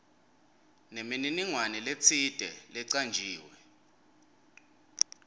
nemininingwane letsite lecanjiwe